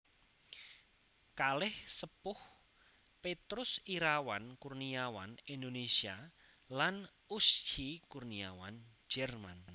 Kalih Sepuh Petrus Irawan Kurniawan Indonesia lan Uschi Kurniawan Jerman